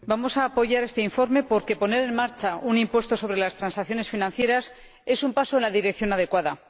Señor Presidente, vamos a apoyar este informe porque poner en marcha un impuesto sobre las transacciones financieras es un paso en la dirección adecuada.